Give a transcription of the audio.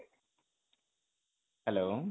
hello